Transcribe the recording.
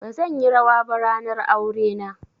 Bazan yi rawa ba ranar aure na.